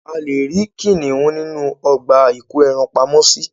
A leè ri kinihun nínú ọgbà ìko ẹran pamo sì